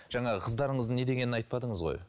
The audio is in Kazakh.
жаңағы қыздарыңыздың не дегенін айтпадыңыз ғой